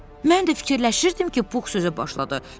Mən də fikirləşirdim ki, Pux sözə başladı.